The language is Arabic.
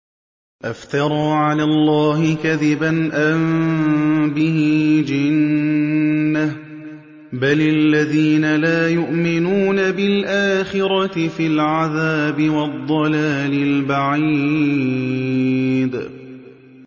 أَفْتَرَىٰ عَلَى اللَّهِ كَذِبًا أَم بِهِ جِنَّةٌ ۗ بَلِ الَّذِينَ لَا يُؤْمِنُونَ بِالْآخِرَةِ فِي الْعَذَابِ وَالضَّلَالِ الْبَعِيدِ